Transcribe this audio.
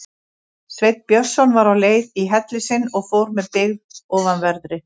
Sveinn Björnsson var á leið í helli sinn og fór með byggð ofanverðri.